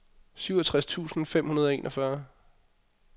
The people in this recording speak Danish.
syvogtres tusind fem hundrede og enogfyrre